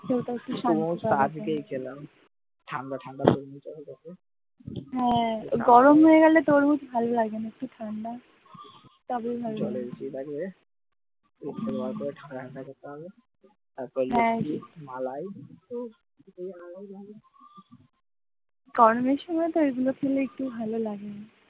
গরমের সময় তো এগুলো খেলে একটু ভালো লাগে।